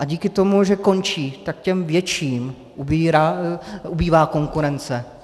A díky tomu, že končí, tak těm větším ubývá konkurence.